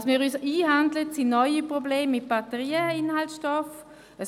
Was wir uns einhandeln, sind neue Probleme mit den Inhaltsstoffen von Batterien;